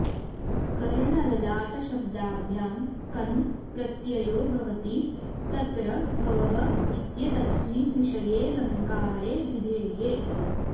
कर्णललाटशब्दाभ्यां कन् प्रत्ययो भवति तत्र भवः इत्येतस्मिन् विषये ऽलङ्कारे ऽभिधेये